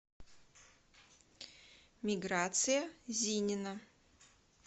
миграция зинина